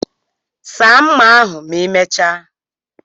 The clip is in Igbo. Saa mma ahu ma imechaa